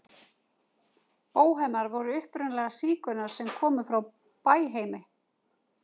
Bóhemar voru upprunalega sígaunar sem komu frá Bæheimi.